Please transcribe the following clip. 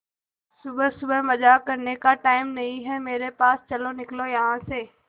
सुबह सुबह मजाक करने का टाइम नहीं है मेरे पास चलो निकलो यहां से